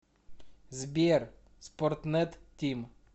сбер спортнет тим